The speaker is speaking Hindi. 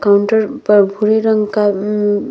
काउंटर पर भूरे रंग का अम्म --